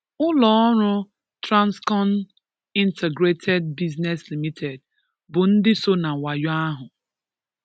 Ụlọọrụ, Transcon Integrated Business Limited, bụ ndị so na wayo ahụ.